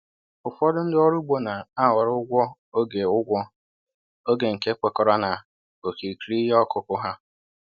Ụfọdụ ndị ọrụ ugbo na-ahọrọ ụgwọ oge ụgwọ oge nke kwekọrọ na okirikiri ihe ọkụkụ ha